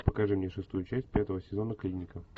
покажи мне шестую часть пятого сезона клиника